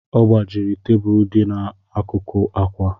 Ọ gbajiri tebulu dị n'akụkụ ákwà